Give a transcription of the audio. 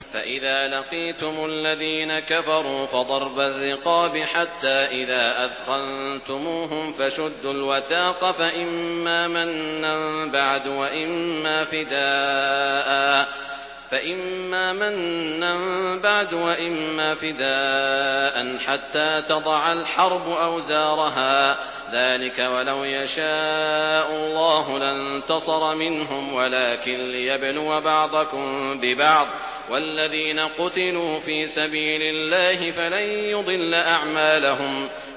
فَإِذَا لَقِيتُمُ الَّذِينَ كَفَرُوا فَضَرْبَ الرِّقَابِ حَتَّىٰ إِذَا أَثْخَنتُمُوهُمْ فَشُدُّوا الْوَثَاقَ فَإِمَّا مَنًّا بَعْدُ وَإِمَّا فِدَاءً حَتَّىٰ تَضَعَ الْحَرْبُ أَوْزَارَهَا ۚ ذَٰلِكَ وَلَوْ يَشَاءُ اللَّهُ لَانتَصَرَ مِنْهُمْ وَلَٰكِن لِّيَبْلُوَ بَعْضَكُم بِبَعْضٍ ۗ وَالَّذِينَ قُتِلُوا فِي سَبِيلِ اللَّهِ فَلَن يُضِلَّ أَعْمَالَهُمْ